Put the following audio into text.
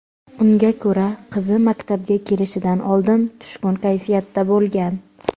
Unga ko‘ra, qizi maktabga kelishidan oldin tushkun kayfiyatda bo‘lgan.